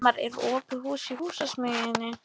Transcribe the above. Elmar, er opið í Húsasmiðjunni?